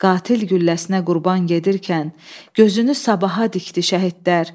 Qatil gülləsinə qurban gedirkən gözünü sabaha dikdi şəhidlər.